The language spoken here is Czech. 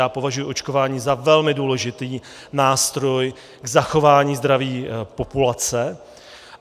Já považuji očkování za velmi důležitý nástroj k zachování zdraví populace.